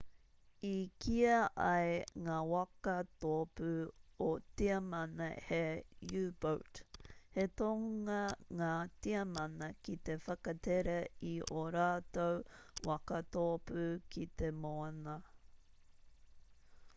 i kīa ai ngā waka tōpū o tiamana he u-boat he tohunga ngā tiamana ki te whakatere i ō rātou waka tōpū ki te moana